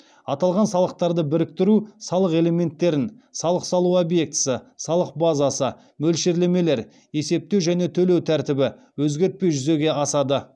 аталған салықтарды біріктіру салық элементтерін өзгертпей жүзеге асады